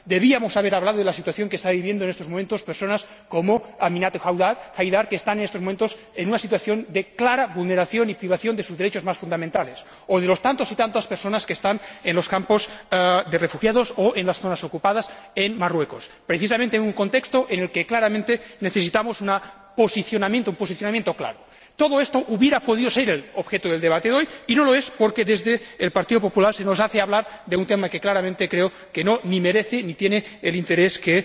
Debíamos haber hablado de la situación que están viviendo en estos momentos personas como Aminatou Haidar, que sufre en estos momentos una situación de clara vulneración y privación de sus derechos más fundamentales, o de las tantas y tantas personas que están en los campos de refugiados, o en las zonas ocupadas en Marruecos, precisamente en un contexto en el que se necesita un posicionamiento claro. Todo esto hubiera podido ser el objeto del debate de hoy y no lo es, porque desde el Partido Popular se nos hace hablar de un tema que claramente creo que ni merece ni tiene el interés que